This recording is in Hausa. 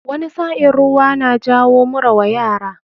Wani sa'in ruwan na jawo mura wa yara.